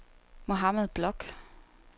Mohammad Bloch